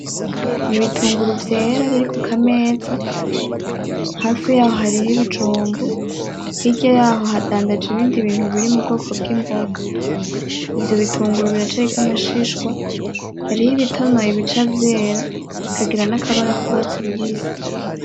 Nibitunguru vyera biri kukameza , hafi yaho hariho ibijumbu, hirya yaho hadandaje ibindi bintu biri mubwoko bwimboga, ivyobitunguru biracariko amashishwa , hariho ibitinoye bica vyera , bikagira nakabara kurwatsi rubisi .